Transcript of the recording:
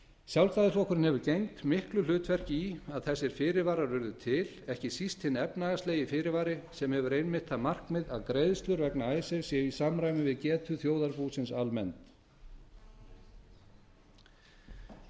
sjálfstæðisflokkurinn hefur gegnt miklu hlutverki í að þessir fyrirvarar urðu til ekki síst hinn efnahagslegi fyrirvari sem hefur einmitt það markmið að greiðslur vegna icesave séu í samræmi við getu þjóðarbúsins almennt